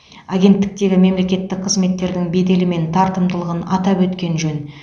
агенттіктегі мемлекеттік қызметтің беделі мен тартымдылығын атап өткен жөн